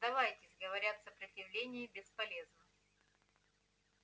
сдавайтесь говорят сопротивление бесполезно